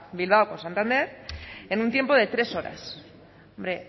bilbao con santander en un tiempo de tres horas hombre